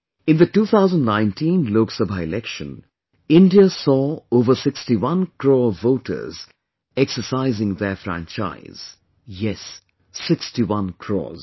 In the 2019 Loksabha Election, India saw over 61 crore voters exercising their franchise... yes 61 crores